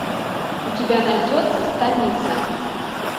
у тебя найдется станица